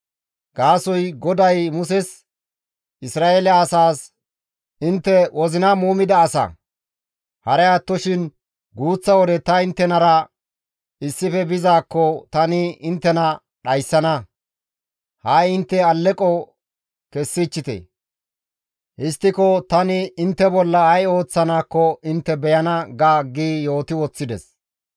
Gaasoykka GODAY Muses, «Isra7eele asaas, ‹Intte wozina muumida asa. Haray attoshin guuththa wode ta inttenara issife bizaakko tani inttena dhayssana. Ha7i intte alleqo kessichite; histtiko tani intte bolla ay ooththanaakko intte beyana› ga» gi yooti woththides.